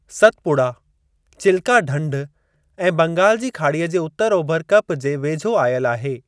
सतपुड़ा, चिल्का ढंढ ऐं बंगाल जी खाड़ीअ जे उतर ओभर कप जे वेझो आयल आहे।